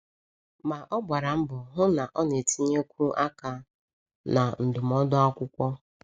Ma ọ gbara mbọ hụ na ọ na-etinyekwu aka na ndụmọdụ akwụkwọ.